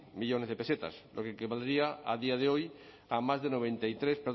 millónes de pesetas lo que equivaldría a día de hoy a más de noventa y tres